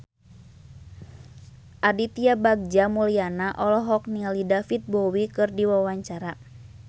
Aditya Bagja Mulyana olohok ningali David Bowie keur diwawancara